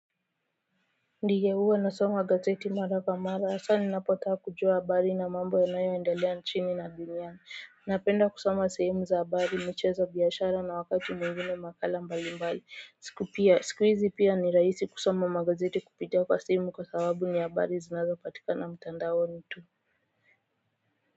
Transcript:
Ndiye huwa nasoma gazeti mara kwa mara hasa ninapotaka kujua habari na mambo yanayoendelea nchini na dunia napenda kusoma sehemu za habari michezo biashara na wakati mwingine makala mbali mbali siku pia siku hizi pia ni rahisi kusoma magazeti kupitia kwa simu kwa sababu ni habari zinazo patikana mtandaoni tu.